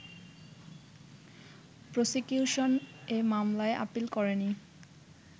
prosecution এ মামলায় appeal করেনি